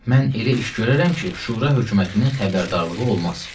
Mən elə iş görərəm ki, Şura hökumətinin xəbərdarlığı olmaz.